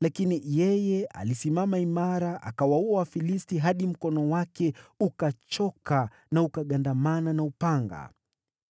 lakini yeye alisimama imara akawaua Wafilisti hadi mkono wake ukachoka na ukagandamana na upanga.